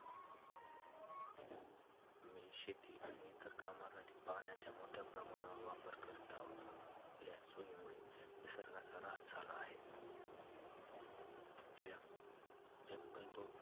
आम्ही शेती आणि इतर कामांसाठी पाण्याचा मोठ्या प्रमाणावर वापर करत आहोत. आपल्या सोईमुळे निसर्गाचा -हास झाला आहे. आपल्या जंगलतोड,